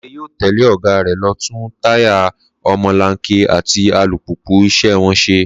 Láńre yóò tẹ̀lé ọ̀gá rẹ̀ lọ tún táyà ọmọlanke àti alùpùpù iṣẹ́ wọn ṣe